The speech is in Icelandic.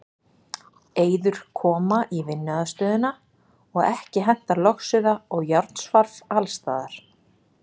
Eyður koma í vinnuaðstöðuna og ekki hentar logsuða og járnsvarf alls staðar.